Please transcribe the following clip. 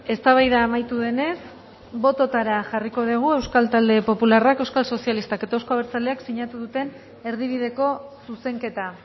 eztabaida amaitu denez bototara jarriko dugu euskal talde popularrak euskal sozialistak eta euzko abertzaleak sinatu duten erdibideko zuzenketa